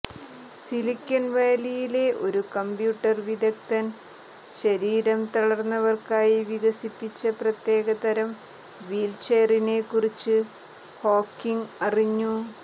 സിലിക്കൺവാലിയിലെ ഒരു കംപ്യൂട്ടർ വിദഗ്ധൻ ശരീരം തളർന്നവർക്കായി വികസിപ്പിച്ച പ്രത്യേകതരം വീൽചെയറിനെ കുറിച്ച് ഹോക്കിംഗ് അറിഞ്ഞു